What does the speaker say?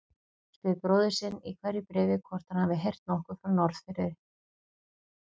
Spyr bróður sinn í hverju bréfi hvort hann hafi heyrt nokkuð frá Norðfirði.